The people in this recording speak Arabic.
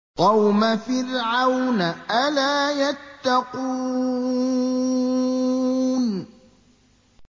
قَوْمَ فِرْعَوْنَ ۚ أَلَا يَتَّقُونَ